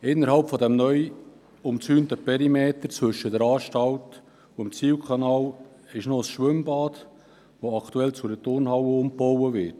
Innerhalb des neu umzäunten Perimeters zwischen der Anstalt und dem Zihlkanal befindet sich ein Schwimmbad, welches aktuell zu einer Turnhalle umgebaut wird.